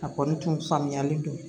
A kɔni tun faamuyalen don